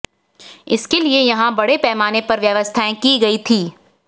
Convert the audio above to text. इसके लिए यहां बड़े पैमाने पर व्यवस्थाएं की गई थी